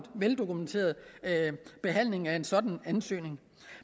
veldokumenteret behandling af en sådan ansøgning